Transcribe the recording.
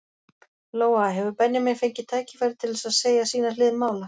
Lóa: Hefur Benjamín fengið tækifæri til þess að segja sína hlið mála?